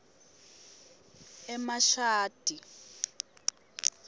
emashadi